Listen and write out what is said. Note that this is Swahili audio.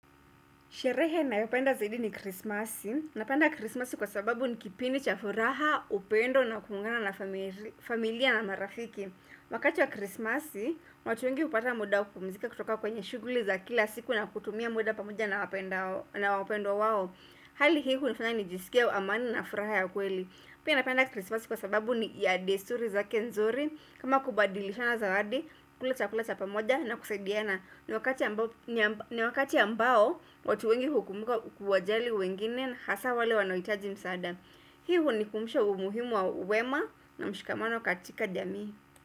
Sherehe nayopenda zaidi ni krismasi. Napenda krismasi kwa sababu ni kipindi cha furaha, upendo na kuungana na familia na marafiki. Wakati wa krismasi, watu wengi hupata muda wa kupumzika kutoka kwenye shughuli za kila siku na kutumia muda pamoja na wapendwa wao. Hali hii hunifanya nijisikie amani na furaha ya kweli. Pia napenda krismasi kwa sababu ni ya desturi zake nzuri. Kama kubadilishana zawadi, kula chakula cha pamoja na kusaidiana. Ni wakati ambao watu wengi hukumbuka kuwajali wengine Hasa wale wanaohitaji msaada Hii hunikumbusha umuhimu wa wema na mshikamano katika jamii.